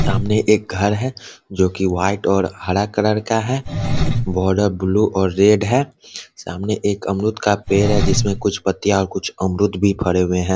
सामने एक घर है जो कि वाइट और हरा कलर का है बॉर्डर ब्लू और रेड है सामने एक आमरुद का पेड़ है जिसमें कुछ पत्तियाँ और कुछ अमरुद भी पड़े हुए हैं ।